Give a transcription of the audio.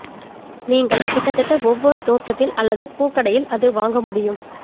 நீங்கள் கிட்டத்தட்ட ஒவ்வொரு தோட்டத்தில் அல்லது பூ கடையில் அது வாங்க முடியும்